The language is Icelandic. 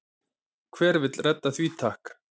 Hver vill redda því takk?